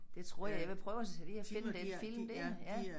Det tror jeg jeg vil prøve at sætte i og finde den film dér ja